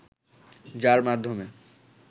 যার মাধ্যমে